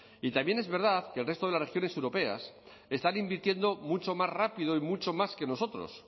y también es verdad que el resto de las regiones europeas están invirtiendo mucho más rápido y mucho más que nosotros